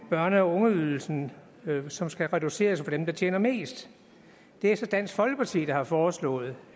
børne og ungeydelsen som skal reduceres for dem der tjener mest det er så dansk folkeparti der har foreslået